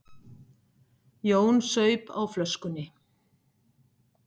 Jón saup á flöskunni.